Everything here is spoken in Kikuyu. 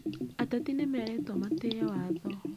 Ateti nĩmerĩtwo matĩye watho